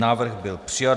Návrh byl přijat.